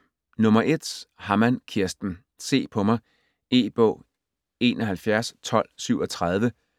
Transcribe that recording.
Hammann, Kirsten: Se på mig E-bog 711237